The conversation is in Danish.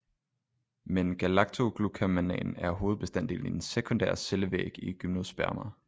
Men galaktoglucomannan er hovedbestanddelen i den sekundære cellevæg i gymnospermer